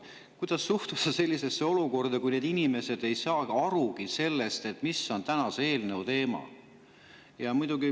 Kuidas suhtuda sellesse, et need inimesed ei saa aru, mis on selle eelnõu teema?